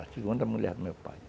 A segunda mulher do meu pai.